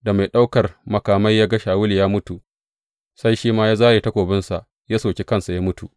Da mai ɗaukar makamai ya ga Shawulu ya mutu, sai shi ma ya zāre takobinsa ya soki kansa ya mutu.